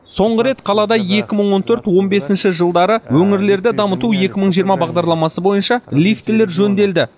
соңғы рет қалада екі мың он төрт он бесінші жылдары өңірлерді дамыту екі мың жиырма бағдарламасы бойынша лифтілер жөнделді